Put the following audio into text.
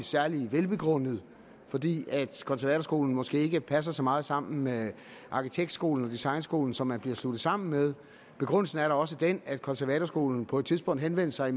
særlig velbegrundet fordi konservatorskolen måske ikke passer så meget sammen med arkitektskolen og designskolen som man bliver sluttet sammen med begrundelsen er da også den at konservatorskolen på et tidspunkt henvendte sig